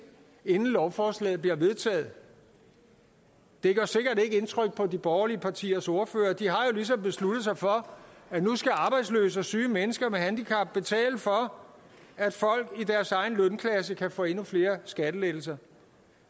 inden lovforslaget bliver vedtaget det gør sikkert ikke indtryk på de borgerlige partiers ordførere de har ligesom besluttet sig for at nu skal arbejdsløse og syge mennesker med handicap betale for at folk i deres egen lønklasse kan få endnu flere skattelettelser